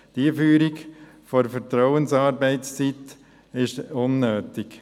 Die Einführung der Vertrauensarbeitszeit ist unnötig.